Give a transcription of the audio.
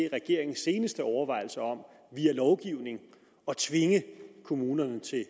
regeringens seneste overvejelser om via lovgivning at tvinge kommunerne til at